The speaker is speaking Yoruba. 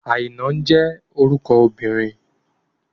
Àìná jẹ́ orúkọ obìnrin.